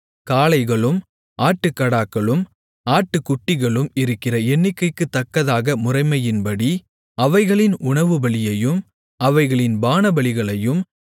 காளைகளும் ஆட்டுக்கடாக்களும் ஆட்டுக்குட்டிகளும் இருக்கிற எண்ணிக்கைக்குத்தக்கதாக முறைமையின்படி அவைகளின் உணவுபலியையும் அவைகளின் பானபலிகளையும்